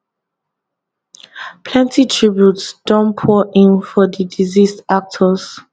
plenty tributes don pour in for di deceased actors